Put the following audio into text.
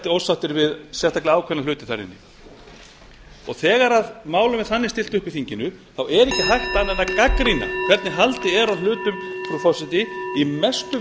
ósáttir við sérstaklega ákveðna hluti þar inni þegar málum er þannig stillt upp í þinginu er ekki hægt annað en að gagnrýna hvernig haldið er á hlutum frú forseti í mestu